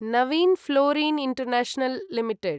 Navin fluorine international limited